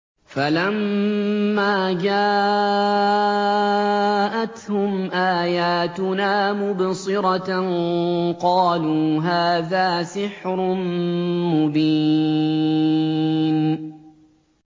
فَلَمَّا جَاءَتْهُمْ آيَاتُنَا مُبْصِرَةً قَالُوا هَٰذَا سِحْرٌ مُّبِينٌ